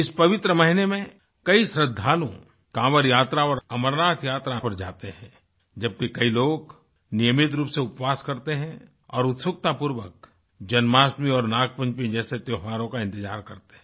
इस पवित्र महीने में कई श्रद्धालु कांवड़ यात्रा और अमरनाथ यात्रा पर जाते हैं जबकि कई लोग नियमित रूप से उपवास करते हैं और उत्सुकतापूर्वक जन्माष्टमी और नाग पंचमी जैसे त्योहारों का इंतजार करते हैं